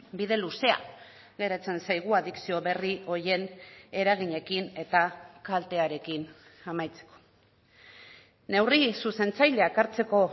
bide luzea geratzen zaigu adikzio berri horien eraginekin eta kaltearekin amaitzeko neurri zuzentzaileak hartzeko